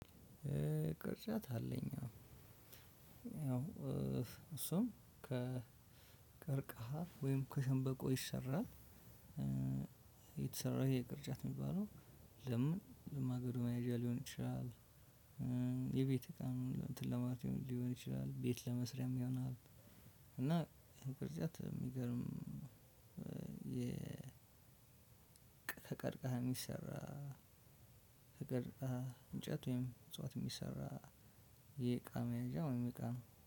ቅርጫት አለኝ አዎ እሱም ከቀርቅሃ ወይም ከሸንበቆ ይሰራል። የተሰራው ይሄ ቅርጫት የሚባለው ለምን ለማገዶ መያዣ ሊሆን ይችላል። የቤት እቃ እንትን ለማለት ሊሆን ይችላል ቤት ለመስሪያም ይሆናል። እና ቅርጫት የሚገርም ከቀርቀሃ የሚሰራ ከቀረቀሃ እንጨት ወይም እጽዋት የሚሰራ። የእቃ መያዣ ወይም እቃ ነው